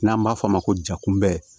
N'an b'a f'o ma ko ja kunbɛ